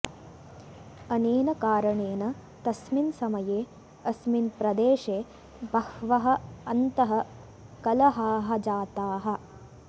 अनेन कारणेन तस्मिन् समये अस्मिन् प्रदेशे बहवः अन्तः कलहाः जाताः